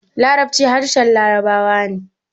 Larabci harshen labarawa ne